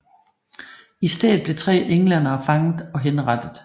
I stedet blev tre englændere fanget og henrettet